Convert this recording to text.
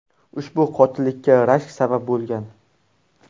Ushbu qotillikka rashk sabab bo‘lgan.